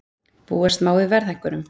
Búast má við verðhækkunum